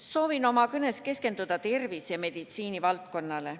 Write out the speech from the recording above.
Soovin oma kõnes keskenduda tervise- ja meditsiinivaldkonnale.